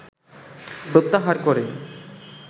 প্রত্যাহার করে